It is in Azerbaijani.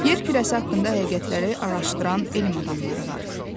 Yer kürəsi haqqında həqiqətləri araşdıran elm adamları var.